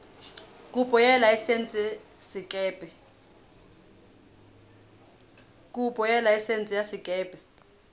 kopo ya laesense ya sekepe